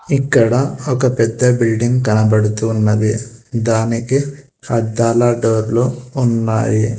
ఇక్కడ ఒక పెద్ద బిల్డింగ్ కనపడుతూ ఉన్నది దానికి అద్దాల డోర్లు ఉన్నాయి.